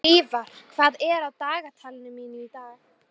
Hlífar, hvað er á dagatalinu mínu í dag?